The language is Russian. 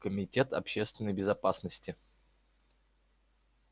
комитет общественной безопасности